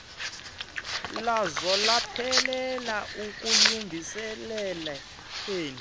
lwazo lwaphelela ekulungiseleleni